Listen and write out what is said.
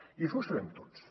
i això ho sabem tots